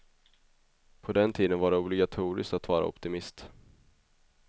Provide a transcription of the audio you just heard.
På den tiden var det obligatoriskt att vara optimist.